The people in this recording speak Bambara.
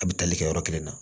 A bɛ tali kɛ yɔrɔ kelen na